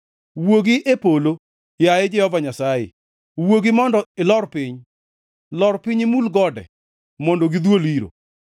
Wuogi e polo, yaye Jehova Nyasaye, wuogi mondo ilor piny; lor piny imul gode, mondo gidhuol iro.